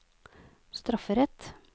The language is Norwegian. strafferett